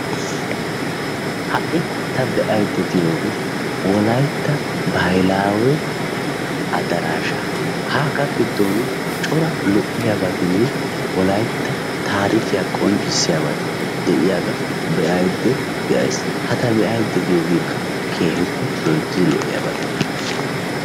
Ha'i ta be'aydda de'iyoogee wolaytta baahilaawe adaraashshaa. Hagaa giddon cora lo"iyaabetinne wolaytta taarikyaa qonccisiyaabati de'iyaagaa be'ayda de'ays. Ha ta be'aydda de'iyoogeekka keehippe loyttidi lo"iyaabata.